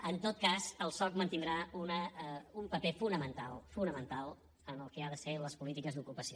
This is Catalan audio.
en tot cas el soc mantindrà un paper fonamental fonamental en el que han de ser les polítiques d’ocupació